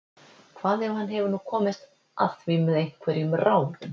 Hvað ef hann hefur nú komist að því með einhverjum ráðum?